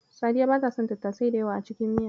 Sadiya bata son tattasai da yawa a cikin miya.